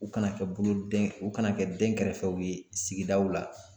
U kana kɛ bolodɛn u kana kɛ dɛnkɛrɛfɛw ye sigidaw la